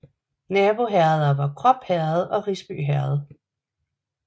Naboherreder var Krop Herred og Risby Herred